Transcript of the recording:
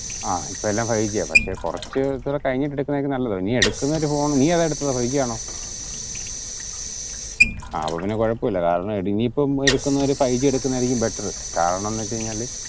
ആഹ് ഇപ്പൊ എല്ലൊം five G പക്ഷെ കുറച് കൂടെ കഴിഞ്ഞിട്ട് എടുക്കുന്നയാരിക്കും നല്ലത് നീ എടുക്കുന്ന ഒരു phone നീ ഏതാ എടുതത് ഫൈവ് ജി ആണോ ആഹ് അപ്പൊ പിന്നെ കുഴപ്പോല നീ ഇപ്പൊ ഫൈവ് ജി എടുക്കുന്നയാ നല്ലത് കാരണംന് വെച്ച കഴിഞ്ഞാൽ